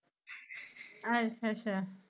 ਅੱਛਾ ਅੱਛਾ।